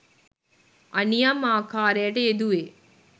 අනියම් ආකාරයට යෙදුවේ